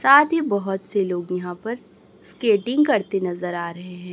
साथ ही बहोत से लोग यहां पर स्केटिंग करते नजर आ रहे हैं।